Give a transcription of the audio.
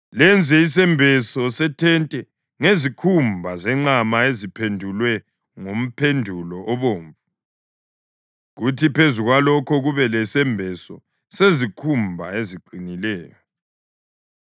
Lenze isembeso sethente ngezikhumba zenqama eziphendulwe ngomphendulo obomvu, kuthi phezu kwalokho kube lesembeso sezikhumba eziqinileyo.